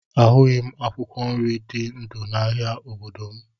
A hụghị m akwụkwọ nri dị ndụ n'ahia obodo m